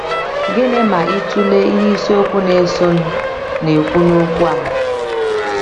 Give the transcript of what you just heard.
Gịnị ma ị tụlee ihe isiokwu na - esonụ na - ekwu n’okwu a?